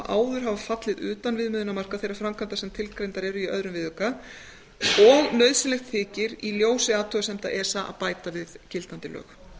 áður hafa fallið utan viðmiðunarmarka sem tilgreindar eru í öðrum viðauka og nauðsynlegt þykir í ljósi athugasemda esa að bæta við gildandi lög